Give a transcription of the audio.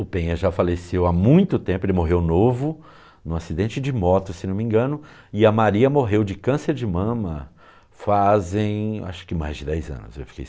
O Penha já faleceu há muito tempo, ele morreu novo em um acidente de moto, se não me engano, e a Maria morreu de câncer de mama fazem acho que mais de dez anos, eu fiquei sabendo.